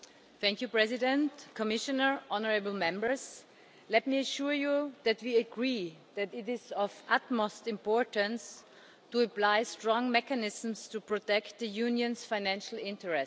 Mr President, Commissioner, honourable Members, let me assure you that we agree that it is of the utmost importance to apply strong mechanisms to protect the Union's financial interests.